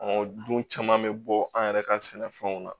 dun caman bɛ bɔ an yɛrɛ ka sɛnɛfɛnw na